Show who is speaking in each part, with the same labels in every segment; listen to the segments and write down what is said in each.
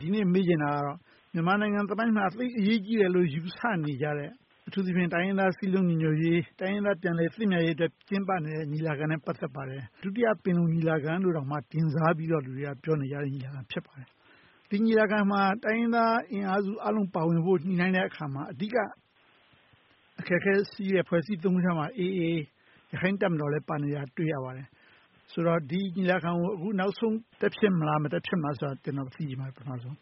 Speaker 1: ဒီနေ့ မေးချင်တာကတော့ မြန်မာနိုင်ငံသမိုင်းမှာ သိပ်ပြီးအရေးကြီးတယ်လို့ ယူဆနေကြတဲ့ အထူးသဖြင့် တိုင်းရင်းသား စည်းလုံးညီညွှတ်ရေး၊ တိုင်းရင်းသား ပြန်လည်သင့်မြတ်ရေးအတွက် ကျင်းပနေတဲ့ ညီလာခံနဲ့ ပတ်သက်နေပါတယ်။ ဒုတိယ ပင်လုံညီလာခံလို့ တင်စားပြီးတော့ လူတွေက ပြောနေကြတဲ့ ညီလာခံ ဖြစ်ပါတယ်။ ဒီညီလာခံမှာ တိုင်းရင်းသားအင်အားစုအားလုံး ပါဝင်ဖို့ ညှိနှိုင်းတဲ့အခါမှာ အဓိက အခက်အခဲရှိတဲ့ အဖွဲ့အစည်း ခုက AA ရခိုင်တပ်မတော်လည်း ပါဝင်နေတာ တွေ့ရပါတယ်။ ဆိုတော့ ဒီညီလာခံကို အခုနောက်ဆုံး တက်ဖြစ်မလား၊ မတက်ဖြစ်လာဆိုတာကို ပထမဦးဆုံး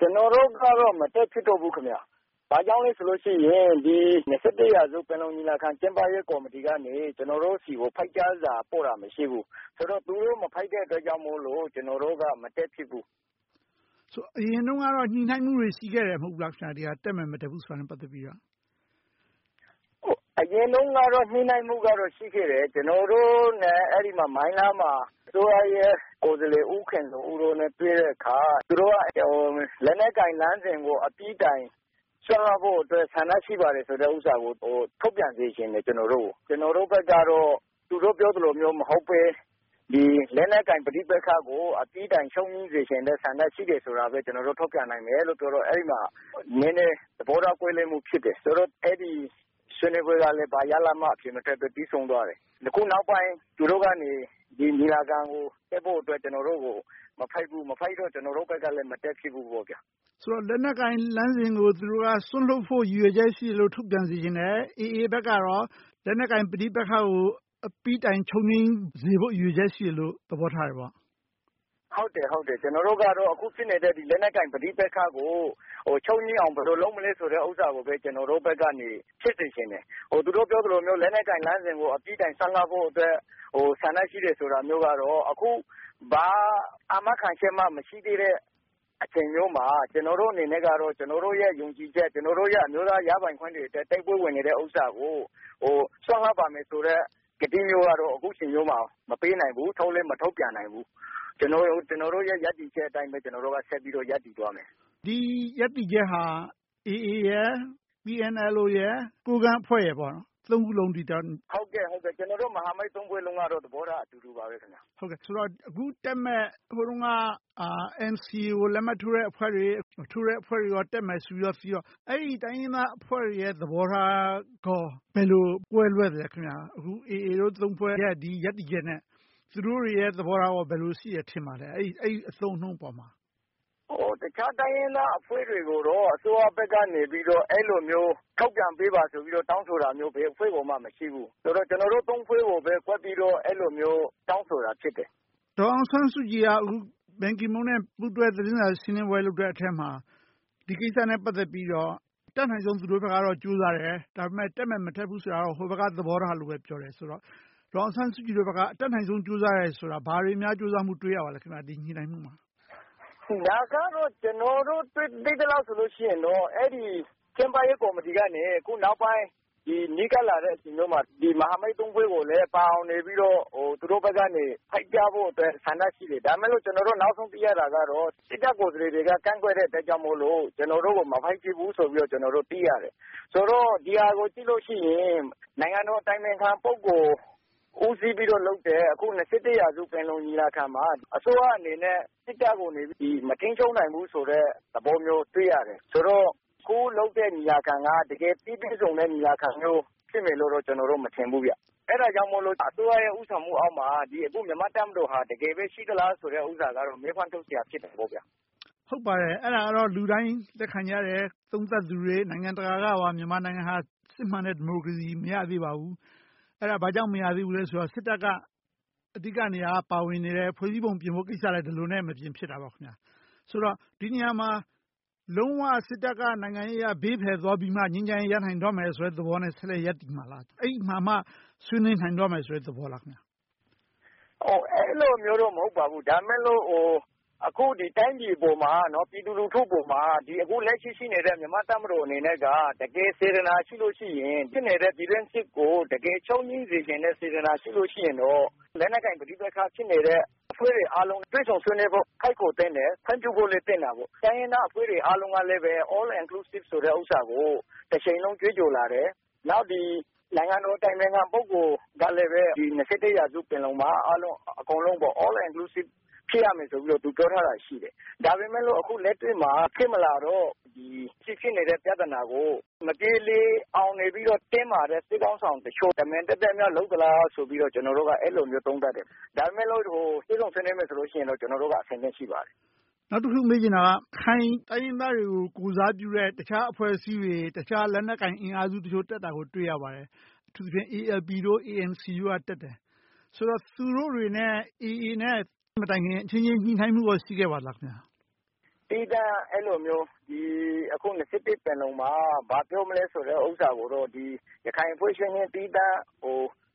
Speaker 1: ကျနော် သိချင်ပါတယ်။
Speaker 2: ကျနော်တို့ကတော့ မတက်ဖြစ်တော့ဘူး။ ဘာကြောင့်လဲဆိုရင် ဒီ ရာစု ပင်လုံညီလာခံ ကျင်းပရေးကော်မတီကနေ ကျနော်တို့ဆီကို ဖိတ်ကြားစာ ပို့တာ မရှိဘူး။ ဆိုတော့ သူတို့ မဖတ်တဲ့အတွက် ကျနော်တို့က မတက်ဖြစ်ဘူး။
Speaker 1: အရင်တုန်းကတော့ ညှိနှိုင်းမှုတွေ ရှိခဲ့တယ် မဟုတ်လား။ တက်မယ် မတက်ဘူးဆိုတာနဲ့ ပတ်သက်ပြီတော့။
Speaker 2: အရင်တုန်းကတော့ ညှိနှိုင်းမှုကတော့ ရှိခဲ့တယ်။ ကျနော်တို့ မိုင်းလားမှာ အစိုးရကိုယ်စားလှယ် ဦးခင်ဇော်ဦးတို့နဲ့ တွေ့တဲ့အခါ သူတို့က လက်နက်ကိုင်လမ်းစဉ်ကို အပြီးအပိုင်း စွန့်လွှတ်ဖို့အတွက် ဆန္ဒရှိပါတယ်ဆိုတဲ့ဟာကို ထုတ်ပြန်စေချင်တယ်။ ကျနော်တို့ဘက်ကတော့ သူတို့ပြောသလို မဟုတ်ဘဲ လက်နက်ကိုင် ပဋိပက္ခကို အပြီးတိုင် ချုပ်ငြိမ်းစေချင်တဲ့ဆန္ဒ ရှိတယ်ဆိုတာပဲ ထုတ်ပြန်နိုင်တယ်လို့ ပြောတော့ အဲဒီမှာ သဘောထား ကွဲလွဲမှုဖြစ်တယ်။ ဆိုတော့ အဲဒီ ဆွေးနွေးပွဲက ဘာရလဒ်မှမထွက်ဘဲ ပြီးဆုံးသွားတယ်။ နောက်ပိုင်း သူတို့က ညီလာခံကို တက်ဖို့အတွက် မဖိတ်ဘူး။ မဖိတ်တဲ့အတွက် ကျနော်တို့ကလည်း မတက်ဖြစ်ဘူး။
Speaker 1: သူတို့က လက်နက်ကိုင်လမ်းစဉ်ကို စွန့်လွှတ်ဖို့ ရည်ရွယ်ချက်ရှိတယ်လို့ ထုတ်ပြန်စေချင်တယ်။ AA ဘက်က လက်နက်ကိုင်ပဋိပက္ခကို အပြီးတိုင်ချုပ်ငြိမ်းစေဖို့ ရည်ရွယ်ချက် ရှိတယ်လို့ သဘောထားတယ်ပေါ့။
Speaker 2: ဟုတ်တယ်...ကျနော်တို့ကတော့ အခုဖြစ်နေတဲ့ လက်နက်ကိုင် ပဋိပက္ခကို ချုပ်ငြိမ်းအောင် ဘယ်လို လုပ်မလဲဆိုတာကိုပဲ ကျနော်တို့ဘက်က ဖြစ်စေချင်တယ်။ သူတို့ပြောသလိုမျိုး လက်နက်ကိုင်လမ်းစဉ်ကို အပြီးတိုင်း စွန့်လွှတ်ဖို့အတွက် ဆန္ဒရှိတယ်ဆိုတာမျိုးကတော့ ဘာအာမခံချက်မှမရှိသေးတဲ့ အချိန်မျိုးမှာ ကျနော်တို့အနေနဲ့က ကျနော်တို့ ယုံကြည်ချက်၊ ကျနော်တို့ အမျိုးသားရပိုင်ခွင့်အတွက် တိုက်ပွဲဝင်နေတဲ့ဟာကို စွန့်လွှတ်ပါမယ်ဆိုတဲ့ ကတိမျိုးကတော့ အခုအချိန်မျိုးမှာ မပေးနိုင်ဘူး။ ထုတ်လည်း မထုတ်ပြန်နိုင်ဘူး။ ကျနော်တို့ရဲ့ ရပ်တည်ချက်အတိုင်း ဆက်ပြီးတော့ ရပ်တည်သွားမယ်။
Speaker 1: ဒီရပ်တည်ချက်သည် AA, PNLO, ကိုးကန့်အဖွဲ့ ဖွဲ့စလုံး…
Speaker 2: ဟုတ်ကဲ့ ကျနော်တို့ မဟာမိတ် ဖွဲ့စလုံးကတော့ သဘောထား အတူတူပါ။
Speaker 1: အခုတက်မယ့် ဟိုတုန်းက NCA ကို လက်မှတ်ထိုးထားတဲ့ အဖွဲ့တွေ၊ မထိုးထားတဲ့အဖွဲ့တွေ တက်မယ်ဆိုပြီး ရှိတော့ အဲဒီ တိုင်းရင်းသားအဖွဲ့တွေရဲ့ သဘောထားကော ဘယ်လို ကွဲလွဲသလဲ။ အခု AA တို့ ဖွဲ့ ရပ်တည်ချက်နဲ့ သူတို့တွေရဲ့ သဘောထား ဘယ်လို ရှိတယ် ထင်ပါလဲ။ အဲဒီ အသုံးအနှုန်းပေါ်မှာ။
Speaker 2: တခြားတိုင်းရင်းသားအဖွဲ့တွေကိုတော့ အစိုးရဘက်ကနေ အဲဒီလိုမျိုး ထုတ်ပြန်ပေးပါဆိုပြီး တောင်းဆိုတာမျိုး ဘယ်အဖွဲ့ကိုမှ မရှိဘူး။ ဆိုတော့ ကျနော်တို့ ဖွဲ့ကိုပဲ ကွက်ပြီးတော့ အဲဒီလိုမျိုး တောင်းဆိုတာ ဖြစ်တယ်။
Speaker 1: ဒေါ်အောင်ဆန်းစုကြည်က ဘန်ကီးမွန်နဲ့ ပူးတွဲသတင်းစာ ရှင်းလင်းပွဲ လုပ်တဲ့အထဲမှာ ဒီကိစ္စနဲ့ ပတ်သက်ပြီးတော့ တတ်နိုင်ဆုံး သူတို့ဘက်က ကြိုးစားတယ်။ ဒါပေမဲ့ တက်မယ် မတက်ဘူးဆိုတာ ဟိုဘက်က သဘောထားလို့ ပြောတယ်ဆိုတော့ ဒေါ်အောင်ဆန်းစုကြည်တို့ဘက်က အတတ်နိုင်ဆုံး ကြိုးစားတယ်ဆိုတာ ဘာတွေများ ကြိုးစားမှု တွေ့ရပါလဲ ဒီညှိနှိုင်းမှုမှာ။
Speaker 2: ဒါကတော့ ကျနော်တို့ သိသလောက်ဆိုရင်တော့ အဲဒီ ကျင်းပရေးကော်မတီနဲ့ အခုနောက်ပိုင်း နီးကပ်လာတဲ့ အချိန်မျိုးမှာ မဟာမိတ် ဖွဲ့ကို ဖိတ်ကြားဖို့အတွက် ဆန္ဒရှိတယ်။ ဒါပေမဲ့ ကျနော်တို့ နောက်ဆုံးသိရတာက စစ်တပ်ကိုယ်စားလှယ်တွေက ကန့်ကွက်တဲ့အတွက်ကြောင့်မို့ ကျနော်တို့ကို မဖိတ်သေးဘူးလို့ သိရတယ်။ ဆိုတော့ ဒီဟာကို ကြည့်လို့ရှိရင် နိုင်ငံတော်အတိုင်ပင်ခံ ပုဂ္ဂိုလ် ဦးစီးပြီးတော့လုပ်တဲ့ ရာစု ပင်လုံညီလာခံမှာ အစိုးရအနေနဲ့ စစ်တပ်ကို မထိန်းချုပ်နိုင်ဘူးဆိုတဲ့ သဘောမျိုး တွေ့ရတယ်။ ဆိုတော့ အခုလုပ်တဲ့ ညီလာခံက တကယ် ပြီပြည့်စုံတဲ့ ညီလာခံမျိုး ဖြစ်မယ်လို့တော့ ကျနော်တို့ မထင်ဘူး။ အဲဒါကြောင့်မို့ အစိုးရရဲ့ ဦးဆောင်မှုအောက်မှာ မြန်မာတပ်မတော်ဟာ တကယ်ပဲ ရှိသလားဆိုတာကတော့ မေးခွန်းတခု ထုတ်စရာ ဖြစ်တယ်။
Speaker 1: ဟုတ်ပါတယ်။ အဲဒါကတော့ လူတိုင်းလက်ခံကြတယ်။ သုံးသပ်သူတွေ နိုင်ငံတကာ၊ မြန်မာကပါ မြန်မာနိုင်ငံဟာ စစ်မှန်တဲ့ ဒီမိုကရေစီ မရသေးပါဘူး။ အဲဒါ ဘာကြောင့် မရသေးဘူးလဲဆိုတော့ စစ်တပ်က အဓိကနေရာက ပါဝင်နေတယ်။ ဖွဲ့စည်းပုံပြင်ဖို့ ကိစ္စလည်း ဒီလိုနဲ့ မပြင်ဖြစ်တာပေါ့။ ဆိုတော့ ဒီနေရာမှာ လုံးဝ စစ်တပ်က နိုင်ငံရေးအရ ဘေးဖယ်သွားပြီးမှ ငြိမ်းချမ်းရေး ရနိုင်တော့မယ်ဆိုတဲ့ သဘောနဲ့ ဆက်လက်ရပ်တည်မှာလား။ အဲဒီမှာမှ ဆွေးနွေးနိုင်မယ့် သဘောလား။
Speaker 2: အဲဒီလိုမျိုးတော့ မဟုတ်ပါဘူး။ ဒါပေမဲ့ အခု တိုင်းပြည်အပေါ်မှာ ပြည်သူလူထုအပေါ်မှာ အခုလက်ရှိ ရှိနေတဲ့ မြန်မာ့တပ်မတော်အနေနဲ့က တကယ် စေတနာရှိလို့ရှိရင် ဖြစ်နေတဲ့ ပြည်တွင်းစစ်ကို တကယ် ချုပ်ငြိမ်းစေချင်တဲ့ စေတနာရှိရင်တော့ လက်နက်ကိုင်ပဋိပက္ခ ဖြစ်နေတဲ့ အဖွဲ့တွေအားလုံး တွေ့ဆုံဆွေးနွေးဖို့ ဖိတ်ခေါ်သင့်တယ်။ ခွင့်ပြုဖို့လည်း သင့်တာပေါ့။ တိုင်းရင်းသားတွေအားလုံးကလည်း All Inclusive ဆိုတာကို တချိန်လုံး ကြွေးကြော်လာတယ်။ နောက် နိုင်ငံတော်အတိုင်ပင်ခံ ပုဂ္ဂိုလ်ကလည်း ရာစု ပင်လုံမှာ အားလုံး၊ အကုန်လုံး All Inclusive ဖြစ်ရမယ်ဆိုပြီး သူပြောထားတာ ရှိတယ်။ ဒါပေမဲ့ အခုလက်တွေ့မှာ ဖြစ်မလာတော့ ရှိနေတဲ့ ပြဿနာကို မပြေလည်အောင် နေပြီတော့ တင်းမာတဲ့ စစ်ခေါင်းဆောင်တချို့ သက်သက်များ လုပ်သလားဆိုပြီး ကျနော်တို့က အဲဒီလိုမျိုး သုံးသပ်တယ်။ ဒါပေမဲ့လို့ တွေ့ဆုံဆွေးနွေးမယ်ဆိုရင်တော့ ကျနော်တို့က အဆင်သင့် ရှိပါတယ်။
Speaker 1: နောက်တခု မေးချင်တာက ရခိုင်တိုင်းရင်းသားတွေကို ကိုယ်စားပြုတဲ့ တခြားအဖွဲ့အစည်းတွေ၊ တခြားလက်နက်ကိုင် အင်အားစုတချို့ တက်တာကို တွေ့ရပါတယ်။ အထူးသဖြင့် ALP, ANC တို့ တက်တယ်။ ဆိုတော့ သူတို့တွေနဲ့ AA နဲ့ အချင်းချင်း ညှိနှိုင်းမှု ရှိခဲ့ပါလား။
Speaker 2: သီးသန့် အခုလိုမျိုး အခု ပင်လုံမှာ ဘာပြောမလဲဆိုတာကိုတော့ ရခိုင်အချင်းချင်း သီးသန့်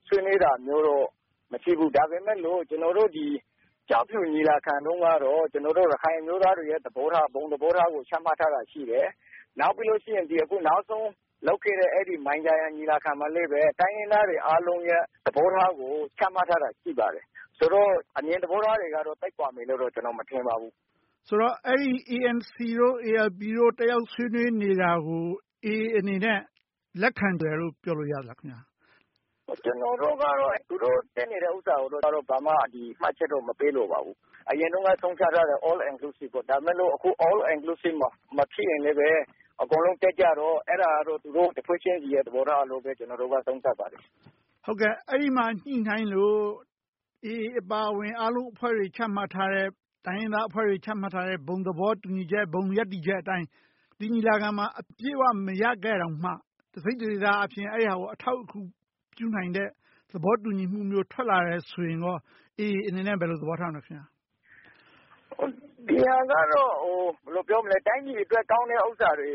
Speaker 2: ဆွေးနွေးတာမျိုးတော့ မရှိဘူး။ ဒါပေမဲ့လို့ ကျောက်ဖြူညီလာခံတုန်းက ကျနော်တို့ ရခိုင်အမျိုးသားတွေရဲ့ သဘောထား ဘုံသဘောထားကို ချမှတ်ထားတာရှိတယ်။ နောက်ပြီးတော့ နောက်ဆုံး လုပ်ခဲ့တဲ့ မိုင်းဂျာယန် ညီလာခံမှာလည်း တိုင်းရင်းသားတွေအားလုံးရဲ့ သဘောထားကို ချမှတ်ထားတာ ရှိပါတယ်။ ဆိုတော့ အမြင်သဘောထားတွေကတော့ သိပ်ကွာမယ် မထင်ပါဘူး။
Speaker 1: ဆိုတော့ ANC, ALP တို့ တက်ရောက်ဆွေးနွေးနေတာကို AA အနေနဲ့ လက်ခံတယ်လို့ ပြောလို့ရလား။
Speaker 2: ကျနော်တို့ကတော့ သူတို့ တက်နေတာကိုတော့ ဘာမှ မှတ်ချက်တော့ မပေးလိုပါဘူး။ အရင်တုန်းက ဆုံးဖြတ်ထားတာ All Inclusive ပေါ့။ အခု All Inclusive မဖြစ်ရင်လဲ အကုန်လုံး တက်ကြတော့ အဲဒါကတော့ သူတို့ တဖွဲ့ချင်းဆီရဲ့ သဘောထားလို့ပဲ ကျနော်တို့က သုံးသပ်ပါတယ်။
Speaker 1: အဲဒီမှာ ညှိနှိုင်းလို့ AA အပါအဝင် အားလုံးအဖွဲ့တွေ ချမှတ်ထားတဲ့၊ တိုင်းရင်းသားတွေ ချမှတ်ထားတဲ့ ဘုံသဘောတူညီချက်၊ ဘုံရပ်တည်ချက်အတိုင်း ဒီညီလာခံမှာ အပြည့်အဝ မရခဲ့တောင်မှ တစိတ်တဒေသအားဖြင့် အဲဒီဟာကို အထောက်အကူ ပြုနိုင်တဲ့ သဘောတူညီမှုမျိုး ထွက်လာတယ်ဆိုရင် AA အနေနဲ့ ဘယ်လို သဘောထားမလဲ။
Speaker 2: ဒီဟာကတော့ တိုင်းပြည်အတွက် ကောင်းတဲ့ဟာတွေ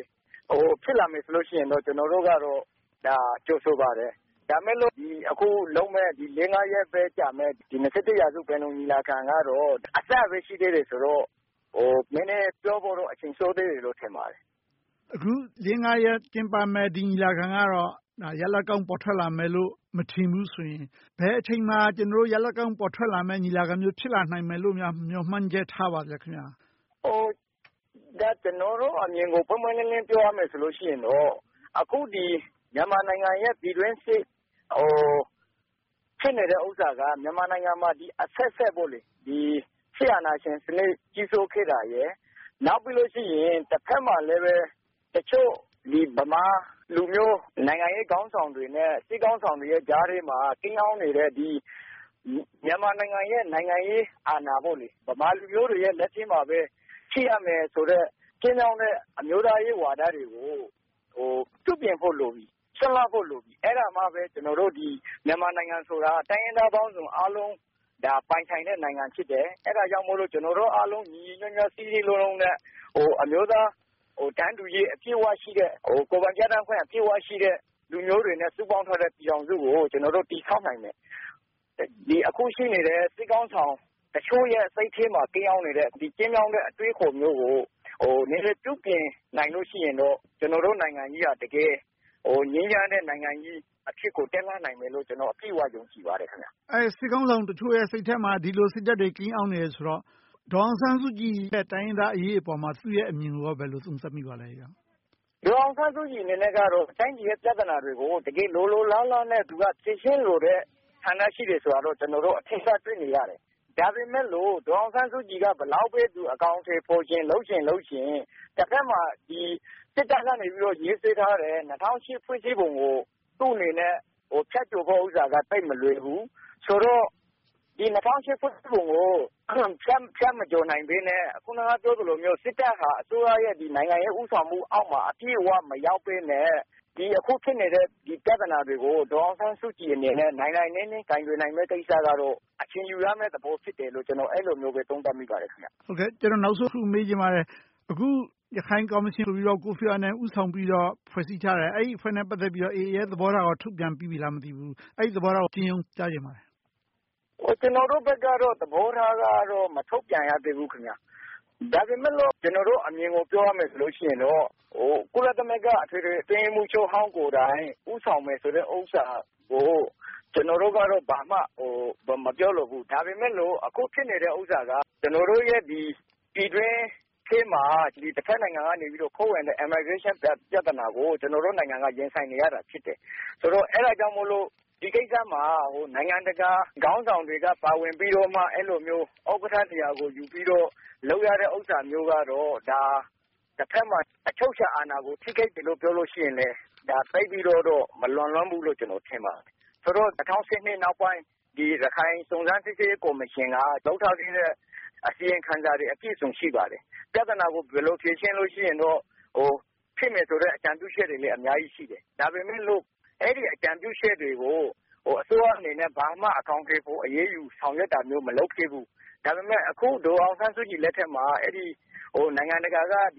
Speaker 2: ဖြစ်လာခဲ့ရင်တော့ ကျနော်တို့က ဒါကို ကြိုဆိုပါတယ်။ ဒါပေမဲ့လို့ အခုလုပ်မယ့် လေးငါးရက်ကြာမယ့် ရာစု ပင်လုံညီလာခံကတော့ အစပဲ ရှိသေးတယ်ဆိုတော့ ပြောဖို့တော့ နည်းနည်းပြောဖို့တော့ အချိန်စောသေးတယ်လို့ ထင်ပါတယ်။
Speaker 1: အခု လေးငါးရက် ကျင်းပမယ့် ဒီညီလာခံကတော့ ရလဒ်ကောင်း ပေါ်ထွက်လာမယ်လို့ မထင်ဘူးဆိုရင် ဘယ်အချိန်မှာ ကျနော်တို့ ရလဒ်ကောင်း ပေါ်ထွက်လာမယ့် ညီလာခံမျိုး ဖြစ်လာနိုင်မယ်လို့များ မျှော်မှန်းချက် ထားပါလဲ။
Speaker 2: ကျနော်တို့အမြင်ကို ပွင့်ပွင့်လင်းလင်း ပြောရမယ်ဆိုရင် အခု မြန်မာနိုင်ငံရဲ့ ပြည်တွင်းစစ် ဖြစ်နေတဲ့ဟာက မြန်မာနိုင်ငံမှာ အဆက်ဆက် စစ်အာဏာရှင် ကြီးစိုးခဲ့တာရယ်။ နောက်ပြီးတော့ တဘက်မှာ တချို့ ဗမာလူမျိုး၊ နိုင်ငံရေးခေါင်းဆောင်တွေနဲ့ စစ်ခေါင်းဆောင်တွေကြားထဲမှာ ကိန်းအောင်းနေတဲ့ မြန်မာနိုင်ငံရဲ့ နိုင်ငံရေးအာဏာ ဗမာလူမျိုးတွေရဲ့ လက်ထဲမှာပဲ ဖြစ်ရမယ်ဆိုတဲ့ ကျဉ်းမြောင်းတဲ့ အမျိုးသားရေးဝါဒတွေကို ပြုပြင်ဖို့လိုပြီ။ စွန့်လွှတ်ဖို့ လိုပြီ။ အဲဒါမှပဲ ကျနော်တို့ မြန်မာနိုင်ငံဆိုတာ တိုင်းရင်းသားပေါင်းစုံ အားလုံးပိုင်ဆိုင်တဲ့ နိုင်ငံဖြစ်တယ်။ အဲဒါကြောင့်မို့ ကျနော်တို့အားလုံး ညီညီညွှတ်ညွှတ်၊ စည်းစည်းလုံးလုံးနဲ့ အမျိုးသားတန်းတူရေး အပြည့်အဝရှိတဲ့၊ ကိုယ်ပိုင်ပြဌာန်းခွင့် အပြည့်အဝရှိတဲ့ လူမျိုးတွေနဲ့ စုပေါင်းထားတဲ့ ပြည်ထောင်စုကို ကျနော်တို့ တည်ဆောက်နိုင်မယ်။ အခု ရှိနေတဲ့ စစ်ခေါင်းဆောင်အချို့ရဲ့ စိတ်ထဲမှာ ကိန်းအောင်နေတဲ့ ကျဉ်းမြောင်းတဲ့ အတွေးအခေါ်မျိုးကို နည်းနည်းပြုပြင်နိုင်ရင်တော့ ကျနော်တို့နိုင်ငံကြီးက တကယ် ငြိမ်းချမ်းတဲ့ နိုင်ငံကြီးအဖြစ်ကို တက်လှမ်းနိုင်မယ်လို့ ကျနော် အပြည့်အဝ ယုံကြည်ပါတယ်။
Speaker 1: စစ်ခေါင်းဆောင်တချို့ရဲ့ စိတ်ထဲမှာ ဒီလို စိတ်ဓါတ်တွေ ကိန်းအောင်နေတယ်ဆိုတော့ ဒေါ်အောင်ဆန်းစုကြည်ရဲ့ တိုင်းရင်းသားအရေးအပေါ် သူ့ရဲ့အမြင်ကို ဘယ်လို သုံးသပ်မိပါလဲ။
Speaker 2: ဒေါ်အောင်ဆန်းစုကြည်အနေနဲ့ တိုင်းပြည်ရဲ့ ပြဿနာတွေကို တကယ် လိုလိုလားလားနဲ့ ဖြေရှင်းလိုတဲ့ ဆန္ဒရှိတယ်ဆိုတာကိုတော့ ကျနော်တို့ အထင်အရှား တွေ့နေရတယ်။ ဒါပေမဲ့လို့ ဒေါ်အောင်ဆန်းစုကြည်က ဘယ်လောက်ပဲ အကောင်အထည်ဖော်၊ လုပ်ချင်ကိုင်ချင် တဘက်မှာ စစ်တပ်ကနေ ရေးဆွဲထားတဲ့ ၂၀၀၈ ဖွဲ့စည်းပုံကို သူ့အနေနဲ့ ဖြတ်ကျော်ဖို့က သိပ်မလွယ်ဘူးဆိုတော့ ဒီ ၂၀၀၈ ဖွဲ့စည်းပုံကို ဖြတ်မကျော်နိုင်သေးဘဲ အခုန ပြောသလိုမျိုး စစ်တပ်ဟာ အစိုးရရဲ့ နိုင်ငံရေး ဦးဆောင်မှုအောက်မှာ အပြည့်အဝ မရောက်ဘဲနဲ့ အခုဖြစ်နေတဲ့ ပြဿနာတွေကို ဒေါ်အောင်ဆန်းစုကြည်အနေနဲ့ နိုင်နိုင်နင်းနင်း ကိုင်တွယ်ယူရမယ့်ကိစ္စကတော့ အချိန်ယူရမယ့်လို့ ကျနော် အဲဒီလိုမျိုး သုံးသပ်မိပါတယ်။
Speaker 1: နောက်ဆုံးတခု မေးချင်ပါတယ်။ အခု ရခိုင်ကော်မရှင်ဆိုပြီး ကိုဖီအာနန် ဦးဆောင်ပြီးတော့ ဖွဲ့စည်းထားတယ်။ အဲဒီအဖွဲ့နဲ့ ပတ်သက်ပြီးတော့ AA ရဲ့ သဘောထားကို ထုတ်ပြန်ထားပြီးပြီလား။ အဲဒီ သဘောထားကို အကျဉ်းရုံး ကြားချင်ပါတယ်။
Speaker 2: ကျနော်တို့ဘက်ကတော့ သဘောထား မထုတ်ပြန်ရသေးဘူး။ ဒါပေမဲ့ ကျနော်တို့အမြင်ကို ပြောရမယ်ဆိုလို့ရှိရင်တော့ ကုလသမဂ္ဂ အထွေထွေအတွင်းရေးမှုးချုပ်ဟောင်း ကိုယ်တိုင် ဦးဆောင်မယ်ဆိုတဲ့ဥစ္စာကို ကျနော်တို့က ဘာမှ မပြောလိုဘူး။ ဒါပေမဲ့လို့ အခုဖြစ်နေတဲ့ဥစ္စာက ကျနော်တို့ရဲ့ ပြည်တွင်းအရေးမှာ တဘက်နိုင်ငံက ခိုးဝင်တဲ့ Immigration ပြဿနာကို ကျနော်တို့နိုင်ငံက ရင်ဆိုင်နေရတာ ဖြစ်တယ်။ အဲဒါကြောင့်မို့ ဒီကိစ္စမှာ နိုင်ငံတကာခေါင်းဆောင်တွေက ပါဝင်ပြီးတော့ အဲဒီလိုမျိုး ဥက္ကဋ္ဌနေရာကိုယူပြီးတော့ လုပ်ရတဲ့ဥစ္စာမျိုးကတော့ တဘက်မှာ အချုပ်အခြာအာဏာကို ထိခိုက်တယ်လို့ ပြောလို့ရှိရင်လဲ သိပ်ပြီးတော့ မလွန်လွန်ဘူးလို့ ထင်တယ်။ ၂၀၁၂ နောက်ပိုင်း ရခိုင်စုံစမ်းစစ်ဆေးရေး ကော်မရှင်က လုပ်ထားခဲ့တဲ့ အစီရင်ခံစာတွေ အပြည့်အစုံ ရှိပါတယ်။ ပြဿနာကို ဘယ်လို ဖြေရှင်းလို့ ရှိရင်တော့ ဖြစ်မယ်ဆိုတဲ့ အကြံပြုချက်တွေ အများကြီးရှိတယ်။ ဒါပေမဲ့လို့ အဲဒီ အကြံပြုချက်တွေကို အစိုးရအနေနဲ့ ဘာမှ အကောင်အထည်ဖော်၊ အရေးယူ ဆောင်ရွက်တာမျိုး မလုပ်ခဲ့ဘူး။ ဒါပေမဲ့ အခု ဒေါ်အောင်ဆန်းစုကြည်လက်ထက်မှာ နိုင်ငံတကာက ပုဂ္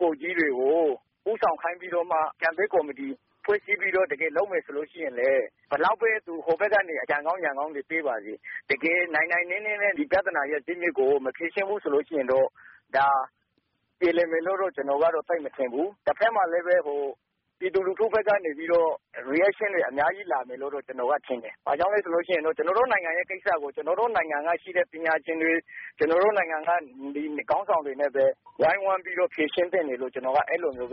Speaker 2: ဂိုလ်ကြီးတွေကို ဦးဆောင်ခိုင်းပြီး အကြံပေးကော်မတီ ဖွဲ့စည်းပြီး တကယ်လုပ်မယ်ဆိုရင်လဲ ဘယ်လောက်ပဲ ဟိုဘက်ကနေ အကြံကောင်းဉာဏ်ကောင်းတွေ ပေးပါစေ တကယ် နိုင်နိုင်နင်းနင်းနဲ့ ဒီပြဿနာရဲ့ ဇစ်မြစ်ကို မဖြေရှင်းဘူးဆိုရင်တော့ ပြေလည်မယ်လို့တော့ ကျနော်ကတော့ သိပ်မထင်ဘူး။ တဘက်မှာလဲ ပြည်သူလူထုဘက်ကနေ Reaction တွေ အများကြီး လာမယ်လို့တော့ ကျနော်က ထင်တယ်။ ဘာကြောင့်လဲဆိုတော့ ကျနော်တို့နိုင်ငံရဲ့ကိစ္စကို ကျနော်တို့ နိုင်ငံကရှိတဲ့ ပညာရှင်တွေ၊ ကျနော်တို့နိုင်ငံက ခေါင်းဆောင်တွေနဲ့ပဲ ဝိုင်းဝန်းပြီးတော့ ဖြေရှင်းသင့်တယ်လို့ အဲဒီလိုမျိုးပဲ